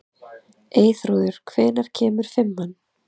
Eyþrúður, hvenær kemur fimman?